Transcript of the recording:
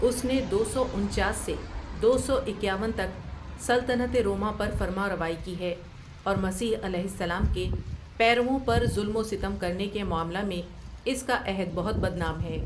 اس نے دو سو انچاس سے دو سو اکیاون تک سلطنت روما پر فرمانروائی کی ہے اور مسیح علیہ السلام کے پیروؤں پر ظلم و ستم کرنے کے معاملہ میں اس کا عہد بہت بد نام ہے ۔